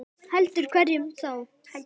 Heldur hverjum þá?